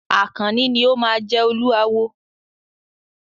Àkànní ni o máa jẹ Olúawo.